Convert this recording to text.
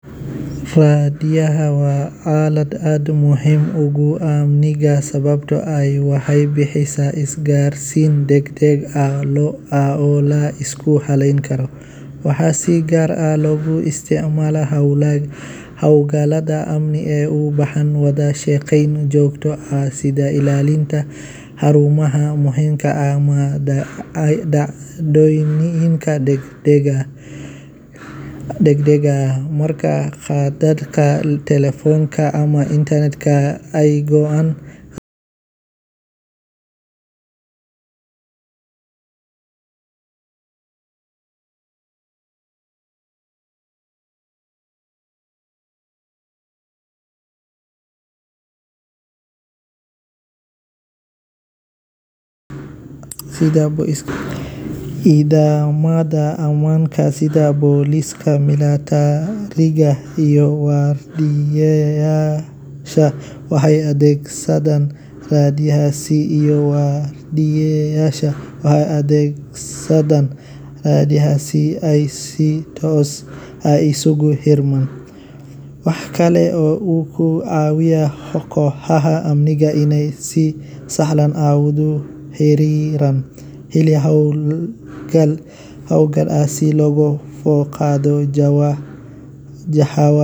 Raadiyaha waa aalad aad u muhiim ah oo door weyn ka ciyaarta isgaarsiinta, wacyigelinta bulshada, iyo faafinta wararka. Inkasta oo teknoolojiyada casriga ah sida internet-ka iyo telefishanka ay horumar weyn sameeyeen, haddana raadiyaha weli wuxuu hayaa kaalmo muhiim ah, gaar ahaan meelaha fogfog iyo kuwa aan helin adeegyada kale ee dijitaalka ah. Raadiyaha wuxuu bulshada si joogto ah ugu gudbiyaa warar, barnaamijyo waxbarasho, caafimaad, dhaqanka iyo madadaalo, iyadoo si fudud loo heli karo loona isticmaali karo xitaa marka koronto la'aan jirto.